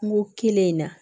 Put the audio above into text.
Kungo kelen in na